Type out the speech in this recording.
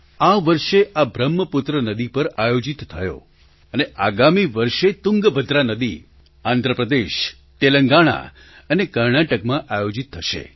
આ વર્ષે આ બ્રહ્મપુત્ર નદી પર આયોજિત થયો અને આગામી વર્ષે તુંગભદ્રા નદી આંધ્ર પ્રદેશ તેલંગાણા અને કર્ણાટકમાં આયોજિત થશે